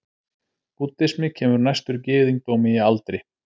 búddismi kemur næstur gyðingdómi í aldri